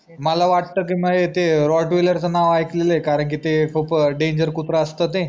मला वाट की नाही ते rottweiler च नाव ऐकलेल आहे करणकी ते खूप DANGER कुत्रा असत ते